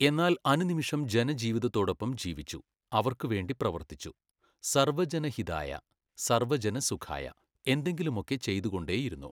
എന്നാൽ അനുനിമിഷം ജനജീവിതത്തോടൊപ്പം ജീവിച്ചു, അവർക്ക് വേണ്ടി പ്രവർത്തിച്ചു. സർവ്വജനഹിതായ, സർവ്വജനസുഖായ എന്തെങ്കിലുമൊക്കെ ചെയ്തുകൊണ്ടേയിരുന്നു.